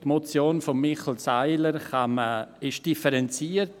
Die Motion von Michel Seiler ist differenziert.